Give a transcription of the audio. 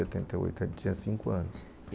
oito. Ele tinha cinco anos. E,